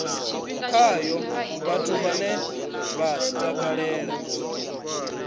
khayo vhathu vhane vha takalela